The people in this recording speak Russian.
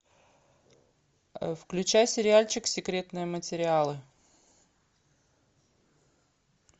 включай сериальчик секретные материалы